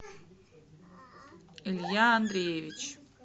илья андреевич